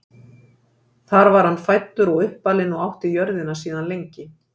Þar var hann fæddur og uppalinn og átti jörðina síðan lengi.